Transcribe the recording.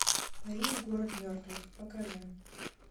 париж город мертвых покажи